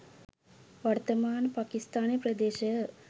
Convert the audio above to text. වර්තමාන පකිස්තානය ප්‍රදේශය